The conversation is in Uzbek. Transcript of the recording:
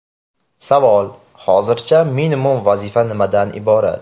Savol: Hozircha, minimum vazifa nimadan iborat?